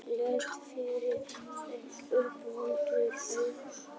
Hélt yfir þeim umvöndunarræður.